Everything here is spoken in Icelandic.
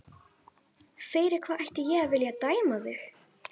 Fyrir hvað ætti ég að vilja dæma þig?